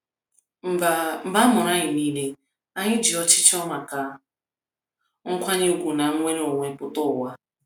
mgba mgba Amuru anyi nile, anyi ji ọchịchọ maka nkwanye ùgwù na nnwere onwe pụta ụwa.